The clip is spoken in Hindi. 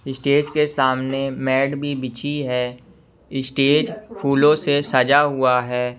स्टेज के सामने मैट भी बिछी है स्टेज फूलों से सजा हुआ है।